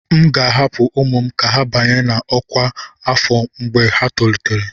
M ga-ahapụ ụmụ m ka ha banye na ọkwa afọ mgbe ha tolitere.